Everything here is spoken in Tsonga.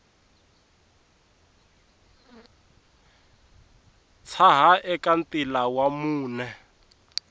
tshaha eka ntila wa mune